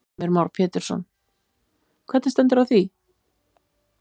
Heimir Már Pétursson: Hvernig stendur á því?